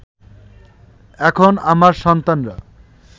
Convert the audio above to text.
এখন আমার সন্তানরা